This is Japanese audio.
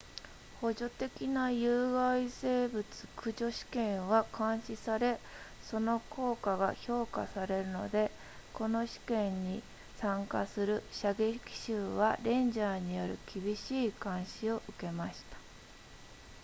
補助的な有害生物駆除試験は監視されその効果が評価されるのでこの試験に参加する射撃手はレンジャーによる厳しい監視を受けました